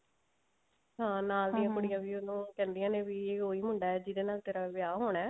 ਹਾਂ ਦੀਆਂ ਕੁੜੀਆਂ ਵੀ ਉਹਨੂੰ ਕਹਿੰਦਿਆਂ ਨੇ ਵੀ ਉਹ ਮੁੰਡਾ ਹੈ ਜਿਹਦੇ ਨਾਲ ਤੇਰਾ ਵਿਆਹ ਹੋਣਾ ਹੈ